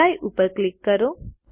apply ઉપર click કરો